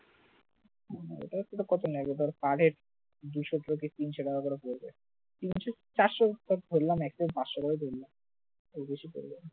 এটা অবশ্য কত নেবে? per head দুশো থেকে তিনশো টাকা করে পড়বে তিনশো চারশো বা ধরলাম একজন পাঁচশো টাকা ধরলাম, এর বেশি পড়বে না